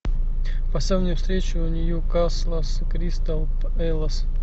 поставь мне встречу ньюкасла с кристал пэлас